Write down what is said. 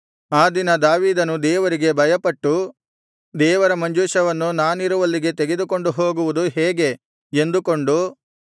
ಆ ದಿನ ದಾವೀದನು ದೇವರಿಗೆ ಭಯಪಟ್ಟು ದೇವರ ಮಂಜೂಷವನ್ನು ನಾನಿರುವಲ್ಲಿಗೆ ತೆಗೆದುಕೊಂಡು ಹೋಗುವುದು ಹೇಗೆ ಎಂದುಕೊಂಡು